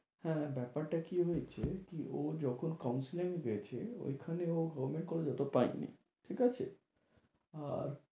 হ্যাঁ, ব্যাপারটা কী হয়েছে কী ও যখন counselling এ গেছে, ঐখানে ও government college অত পায়নি, ঠিকাছে? আর